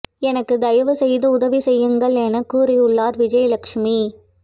எனக்கு தயவு செய்து உதவி செய்யுங்கள் என கதறியுள்ளார் விஜயலட்சுமி